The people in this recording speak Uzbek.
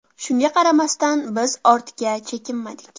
Shunga qaramasdan, biz ortga chekinmadik.